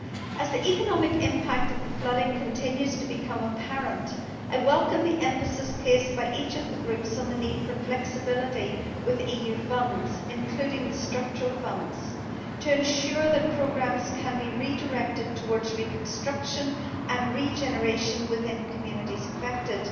As the economic impact of the flooding continues to become apparent, I welcome the emphasis placed by each of the groups on the need for flexibility with EU funds, including the structural funds, to ensure that programmes can be redirected towards reconstruction and regeneration within communities affected.